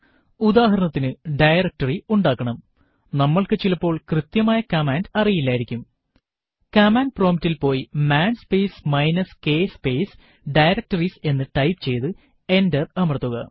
ഉദാഹരണത്തിനു ഡയറക്ടറി ഉണ്ടാക്കണംനമ്മൾക്ക് ചിലപ്പോൾ കൃത്യമായ കമാൻഡ് അറിയില്ലായിരിക്കും കമാൻഡ് prompt ൽ പോയി man space minus k space directories എന്ന് ടൈപ്പ് ചെയ്തു എന്റർ അമർത്തുക